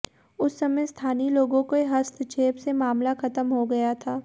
उस समय स्थानीय लोगों के हस्तक्षेप से मामला खत्म हो गया था